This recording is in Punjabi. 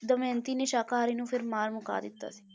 ਦਮਿਅੰਤੀ ਨੇ ਸ਼ਾਕਾਹਾਰੀ ਨੂੰ ਫਿਰ ਮਾਰ ਮੁਕਾ ਦਿੱਤਾ ਸੀ